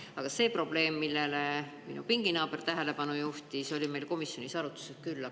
Aga see probleem, millele minu pinginaaber tähelepanu juhtis, oli meil komisjonis arutusel küll.